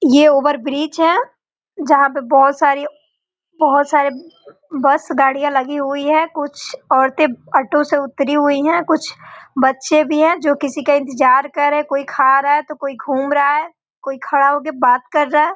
ये over bridge है जहाँ पे बहोत सारी बहोत सारी बस गाड़ियाँ लगी हुई है कुछ औरतें ऑटो से उतरी हुई है कुछ बच्चे भी हैं जो किसी का इंतजार कर रहें कोई खा रहा है तो कोई घूम रहा है कोई खड़ा होके बात कर रहा है।